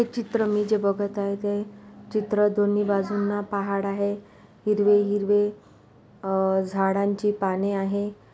हे चित्र मी जे बघत आहे ते चित्र दोन्ही बाजूना पहाड़ आहे हिरवे हिरवे अ झाडांची पाने आहे.